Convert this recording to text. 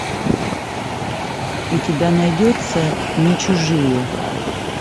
у тебя найдется не чужие